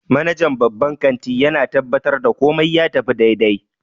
Manajan babban kanti yana tabbatar da komai ya tafi daidai